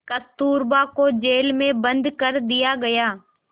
कस्तूरबा को जेल में बंद कर दिया गया